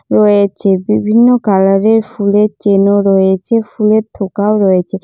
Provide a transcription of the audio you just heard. রয়েছে। বিভিন্ন কালার এর ফুলের চেন ও রয়েছে ফুলের থোকাও রয়েছে।